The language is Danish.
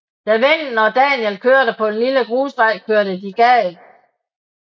Da vennen og Daniel kørte på en lille grusvej kørte de galt